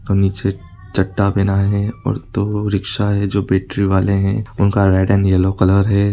नीचे चड़ा पहना है और दो रिक्शा है जो बैटरी वाले हैं उनका रेड एंड येल्लो कलर है।